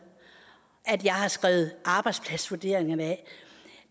at jeg har skrevet arbejdspladsvurderingerne af